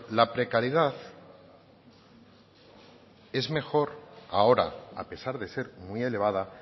la precariedad es mejor ahora a pesar de ser muy elevada